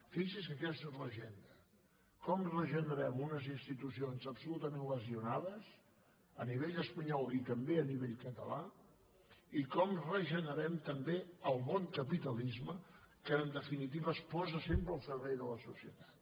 fixi’s que aquesta és l’agenda com regenerem unes institucions absolutament lesionades a nivell espanyol i també a nivell català i com regenerem també el bon capitalisme que en definitiva es posa sempre al servei de la societat